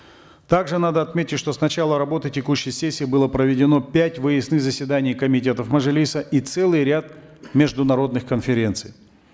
также надо отметить что с начала работы текущей сессии было проведено пять выездных заседаний комитетов мажилиса и целый ряд международных конференций